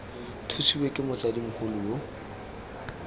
thusiwe ke motsadi mogolo yo